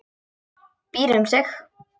Býr um sig.